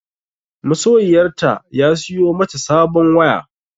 Masoyiyarta ya siyo mata sabon waya.